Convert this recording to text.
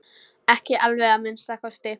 Ekki alveg að minnsta kosti!